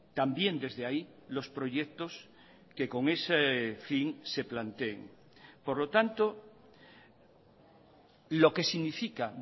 también desde ahí los proyectos que con ese fin se planteen por lo tanto lo que significa